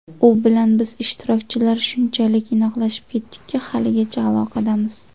U bilan biz ishtirokchilar shunchalik inoqlashib ketdikki, haligacha aloqadamiz.